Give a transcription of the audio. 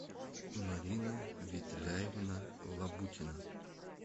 марина ветляевна лабутина